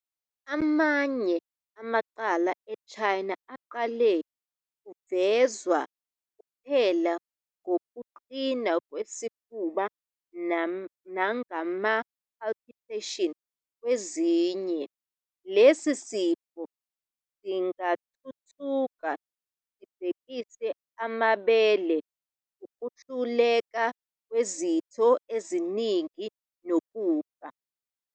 Amanye amacala e-China aqale kuvezwa kuphela ngokuqina kwesifuba nangama- palpitations. Kwezinye, lesi sifo singathuthuka sibhekise amabele, ukwehluleka kwezitho eziningi, nokufa.